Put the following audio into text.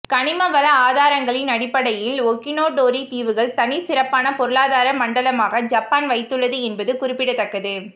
கனிமவள ஆதாரங்களின் அடிப்படையில் ஒகினோடோரி தீவுகள் தனிச்சிறப்பான பொருளாதார மண்டலமாக ஜப்பான் வைத்துள்ளது என்பது குறிப்பிடத்தக்கது